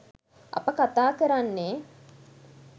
අප කතා කරන්නේ